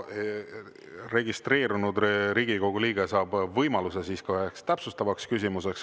Registreerunud Riigikogu liige saab võimaluse esitada ka ühe täpsustava küsimuse.